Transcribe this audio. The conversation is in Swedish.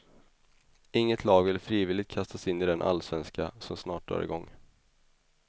Inget lag vill frivilligt kastas in i den allsvenska, som snart drar igång.